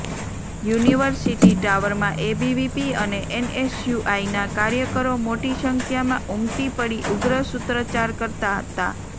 university ટાવરમાં ABVP અને એનએસયુઆઈના કાર્યકરો મોટી સંખ્યામાં ઉમટી પડી ઉગ્ર સૂત્રોચ્ચાર કરતા હતા